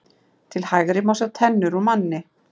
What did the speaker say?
Til hægri má sjá tennur úr manni.